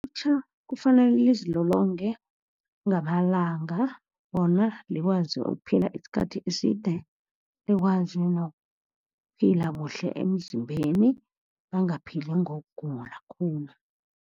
Ilutjha kufanele lizilolonge ngamalanga, bona likwazi ukuphila iskhathi eside, likwazi nokuphila kuhle emzimbeni. Bangaphili ngokugula khulu.